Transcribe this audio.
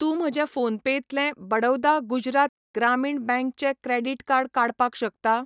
तूं म्हजें फोनपेतलें बडौदा गुजरात ग्रामीण बँक चें क्रेडिट कार्ड काडपाक शकता?